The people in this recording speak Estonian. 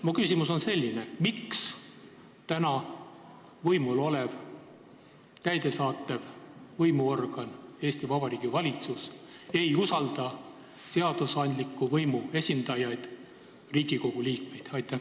Minu küsimus on selline: miks täna võimul olev täidesaatva võimu organ, Eesti Vabariigi valitsus, ei usalda seadusandliku võimu esindajaid, Riigikogu liikmeid?